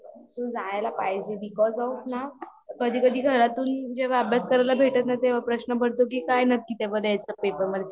जायला पाहिजे because of ना कधी कधी घरातून जेव्हा अभ्यास करायला भेटत नाही तेव्हा प्रश्न पडतो की काय नक्की पेपर लिहायचे पेपर मध्ये